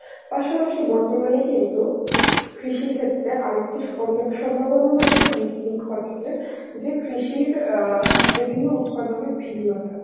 পাশাপাশি বর্তমানে কিন্তু কৃষি ক্ষেত্রে আরেকটি অন্য সম্ভাবনায় যে কৃষির অ্যাঁ বিভিন্ন উৎপাদনের ভিন্নতা.